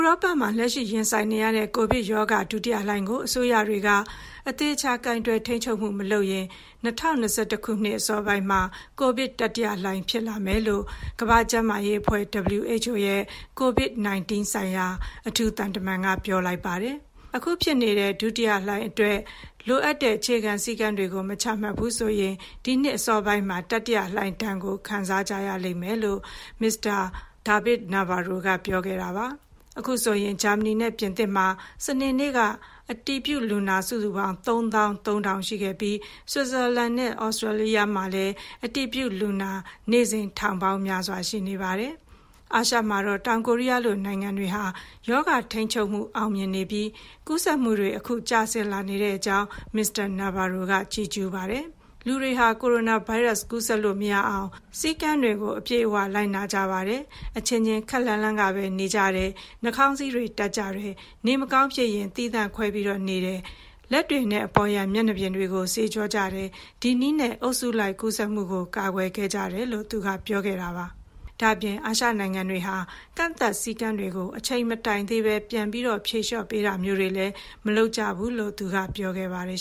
ောပမှာ လက်ရှိရင်ဆိုင်နေရတဲ့ ကိုဗစ်ကပ်ရောဂါ ဒုတိယလှိုင်းကို အစိုးရတွေက အသေအချာ ကိုင်တွယ်ထိန်းချုပ်မှု မလုပ်ရင် ၂၀၂၁ ခုနှစ် အစောပိုင်းမှာ ကိုဗစ်တတိယလှိုင်း ဖြစ်လာမယ်လို့ ကမ္ဘာ့ကျန်းမာရေးအဖွဲ့ (WHO) ရဲ့ COVID-19 ဆိုင်ရာ အထူးသံတမန်က ပြောကြားလိုက်ပါတယ်။ အခုဖြစ်နေတဲ့ ဒုတိယလှိုင်းအတွက် လိုအပ်တဲ့ အခြေခံစည်းကမ်းတွေကို မချမှတ်ဘူးဆိုရင် နောက်နှစ်အစောပိုင်းမှာ တတိယလှိုင်းဒဏ်ကို ခံစားကြရပါလိမ့်မယ်လို့ Mr. David Nabarro က ပြောခဲ့တာပါ။ အခုဆိုရင် ဂျာမနီနဲ့ ပြင်သစ်မှာ စနေနေ့က အတည်ပြုလူနာ စုစုပေါင်း ၃၃,၀၀၀ အထိ ရှိခဲ့ပြီး ဆွစ်ဇာလန်နဲ့ သြစတြီးယားမှာလည်း အတည်ပြုလူနာ နေ့စဉ် ထောင်ပေါင်းများစွာ ရှိနေပါတယ်။ အာရှမှာတော့ တောင်ကိုရီးယားလို နိုင်ငံတွေဟာ ရောဂါထိန်းချုပ်မှု အောင်မြင်နေပြီး ကူးစက်မှုတွေ အခု ကျဆင်းလာနေကြောင်း Mr. Nabarro က ချီးကျူးပြောဆိုပါတယ်။ လူတွေဟာ ဗိုင်းရပ်စ်ကူးစက်လို့ မရနိုင်အောင် စည်းကမ်းတွေကို အပြည့်အဝ လိုက်နာကြပါတယ်၊ အချင်းချင်း ခပ်လှမ်းလှမ်းကပဲ နေကြတယ်၊ နှာခေါင်းစည်းတွေ တပ်ကြတယ်၊ နေမကောင်းဖြစ်ရင် သီးသန့်ခွဲပြီးနေကြတယ်၊ လက်တွေနဲ့ အပေါ်ယံမျက်နှာပြင်တွေကို ဆေးကြောကြတယ်၊ ဒီနည်းနဲ့ အုပ်စုလိုက်ကူးစက်မှုကို ကာကွယ်ခဲ့ကြတယ်လို့ သူက ပြောခဲ့တာပါ။ ဒါ့အပြင် အာရှနိုင်ငံတွေဟာ ကန့်သတ်စည်းကမ်းတွေကို အချိန်မတိုင်သေးဘဲ ပြန်ဖြေလျော့ပေးတာမျိုးတွေ မလုပ်ကြကြောင်းကိုလည်း ပြောခဲ့ပါတယ်